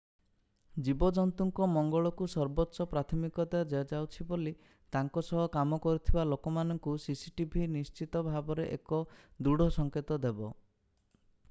ଜୀବଜନ୍ତୁଙ୍କ ମଙ୍ଗଳକୁ ସର୍ବୋଚ୍ଚ ପ୍ରାଥମିକତା ଦିଆଯାଉଛି ବୋଲି ତାଙ୍କ ସହ କାମ କରୁଥିବା ଲୋକମାନଙ୍କୁ cctv ନିଶ୍ଚିତ ଭାବରେ ଏକ ଦୃଢ ସଂକେତ ଦେବ